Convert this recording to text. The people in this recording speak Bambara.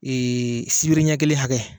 Ee sibiri ɲɛ kelen hakɛ